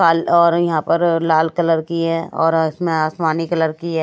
काल और यहां पर लाल कलर की है और इसमें आसमानी कलर की है।